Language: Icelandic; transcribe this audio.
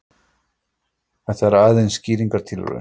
Þetta er aðeins skýringartilraun.